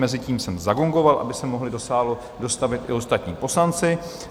Mezitím jsem zagongoval, aby se mohli do sálu dostavit i ostatní poslanci.